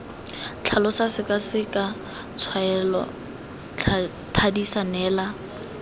tlhalosa sekaseka tshwaela thadisa neela